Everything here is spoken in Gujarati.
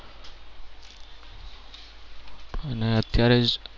અને અત્યારે જે